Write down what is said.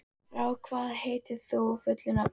Frár, hvað heitir þú fullu nafni?